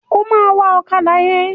Ó máa wa ọ̀kádà yẹn.